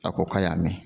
A ko k'a y'a mɛn